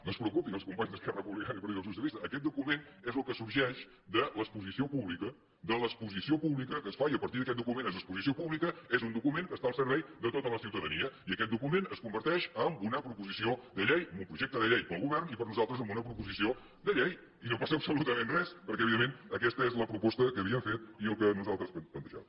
no es preocupin els companys d’esquerra republicana i partit dels socialistes aquest document és el que sorgeix de l’exposició pública de l’exposició pública que es fa i a partir d’aquest document és exposició pública és un document que està al servei de tota la ciutadania i aquest document es converteix en una proposició de llei en un projecte de llei per al govern i per a nosaltres en una proposició de llei i no passa absolutament res perquè evidentment aquesta és la proposta que havíem fet i el que nosaltres plantejàvem